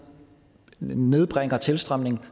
nedbringer tilstrømningen